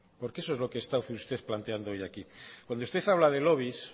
porque eso es lo que está usted hoy planteando aquí cuando usted habla de lobbies